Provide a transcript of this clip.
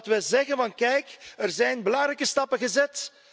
Dat we zeggen kijk, er zijn belangrijke stappen gezet.